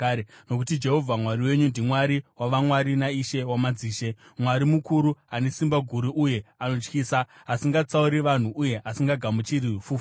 Nokuti Jehovha Mwari wenyu ndiMwari wavamwari naIshe wamadzishe, Mwari mukuru, ane simba guru uye anotyisa, asingatsauri vanhu uye asingagamuchiri fufuro.